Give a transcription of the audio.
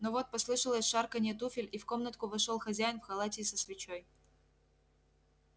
но вот послышалось шарканье туфель и в комнатку вошёл хозяин в халате и со свечой